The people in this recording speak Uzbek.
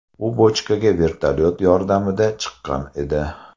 U bochkaga vertolyot yordamida chiqqan edi.